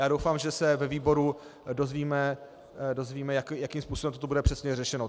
Já doufám, že se ve výboru dozvíme, jakým způsobem to bude přesně řešeno.